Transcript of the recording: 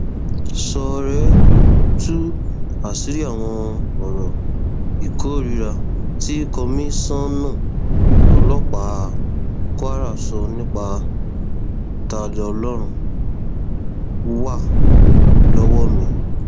ṣọọrẹ tú àṣírí àwọn ọrọ ìkórìíra tí kọmíṣánná ọlọpàá kwara sọ nípa taniọlọrun wà lọwọ mi